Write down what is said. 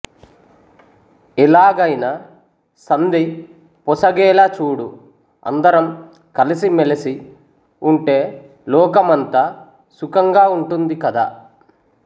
ఎలాగైనా సంధి పొసగేలా చూడు అందరం కలసి మెలసి ఉంటే లోకం అంతా సుఖంగా ఉంటుంది కదా